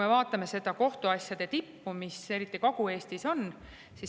Vaatame kohtuasjade tippu, eriti seda, mis Kagu-Eestis on.